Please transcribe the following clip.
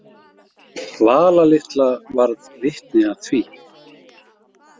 Vala litla varð vitni að því.